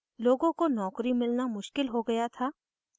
लोगों को नौकरी मिलना मुश्किल हो गया था